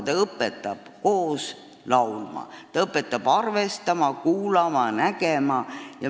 Ta õpetab koos laulma, ta õpetab teisi arvestama, kuulama ja nägema.